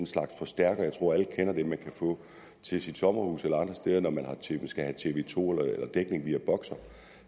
slags forstærker jeg tror alle kender den man kan få til sit sommerhus eller andre steder når man skal have tv to eller dækning via boxer